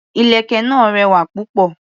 Ìlẹ̀kẹ̀ náà rẹwà púpọ̀.